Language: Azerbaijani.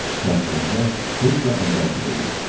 Təəssüratlar heç də əvvəlki deyil.